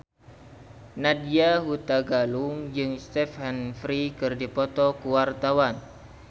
Nadya Hutagalung jeung Stephen Fry keur dipoto ku wartawan